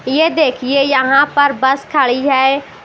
ये देखिए यहां पर बस खड़ी है।